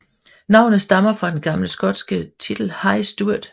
Navnet stammer fra den gamle skotske titel High Steward